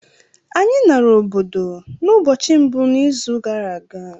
Anyị nara obodo n’ụbọchị mbụ n’izu gara aga